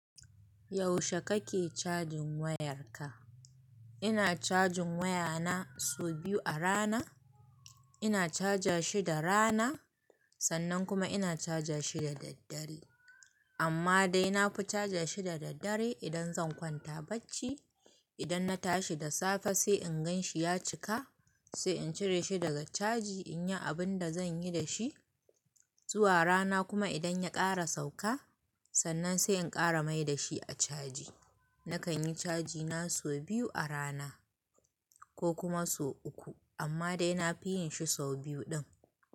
Yaushe kake cajin wayarka? Ina cajin wayana sau biyu a rana. Ina caja shi da rana, sannan kuma ina caja shi da daddare. Amma dai nafi caja shi da daddare idan zan kwanta bacci. Idan na tashi da safe sai in gan shi ya cika, sai in cire shi daga caji in yi abun da zan yi da shi. Zuwa rana kuma idan ya ƙara sauka, sannan sai in ƙara mai da shi a caji. Nakan yi cajina sau biyu a rana ko kuma sau uku, amma dai nafi yin shi sau biyu ɗin.